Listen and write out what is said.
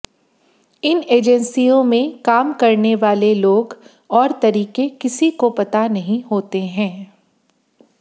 इन एजेंसियों में काम करने वाले लोग और तरीके किसी को पता नहीं होते हैं